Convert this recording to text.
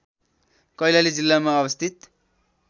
कैलाली जिल्लामा अवस्थित